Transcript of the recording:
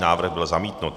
Návrh byl zamítnut.